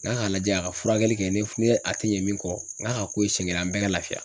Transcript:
N ga ka lajɛ a ka furakɛli kɛ ,ni a te ɲɛ min kɔ n k'a k'o ye siɲɛ kelen an bɛɛ ka lafiya.